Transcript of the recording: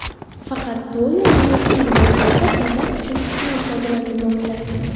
Faqat to‘y va marosim liboslarida bezak uchun qisman foydalanilmoqda.